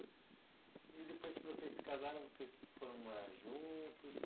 E depois que vocês se casaram, vocês foram morar juntos?